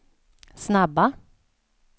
snabba